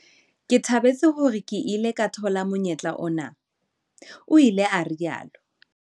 "Ke thabetse hore ke ile ka thola monyetla ona," o ile a rialo.